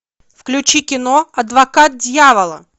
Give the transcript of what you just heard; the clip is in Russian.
включи кино адвокат дьявола